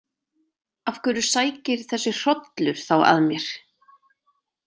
Af hverju sækir þessi hrollur þá að mér?